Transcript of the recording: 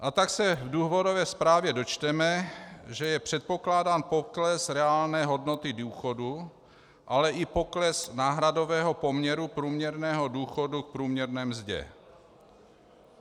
A tak se v důvodové zprávě dočteme, že je předpokládán pokles reálné hodnoty důchodů, ale i pokles náhradového poměru průměrného důchodu k průměrné mzdě.